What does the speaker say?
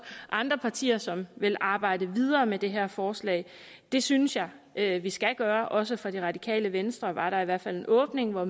andre partier som vil arbejde videre med det her forslag det synes jeg at vi skal gøre også fra det radikale venstre var der i hvert fald en åbning hvor